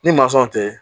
Ni mansɔn tɛ